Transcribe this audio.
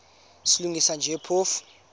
silungisa nje phofu